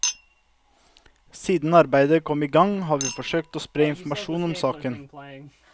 Siden arbeidet kom i gang har vi forsøkt å spre informasjon om saken.